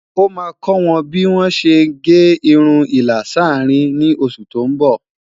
ọ má kò wọn bí wón sé gé irún ìlà s'arin ní oṣù tó n bó